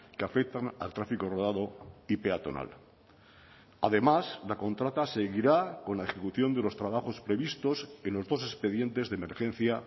que afectan al tráfico rodado y peatonal además la contrata seguirá con la ejecución de los trabajos previstos en los dos expedientes de emergencia